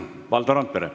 Valdo Randpere.